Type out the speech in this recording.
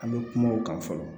An bɛ kuma o kan fɔlɔ